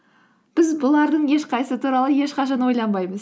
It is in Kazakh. біз бұлардың ешқайсысы туралы ешқашан ойланбаймыз